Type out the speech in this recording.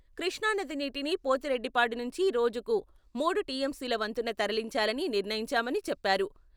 కృష్ణానది నీటిని పోతిరెడ్డిపాడు నుంచి రోజుకు మూడు టీఎంసీల వంతున తరలించాలని నిర్ణయించామని చెప్పారు.